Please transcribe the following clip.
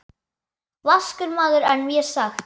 Vaskur maður er mér sagt.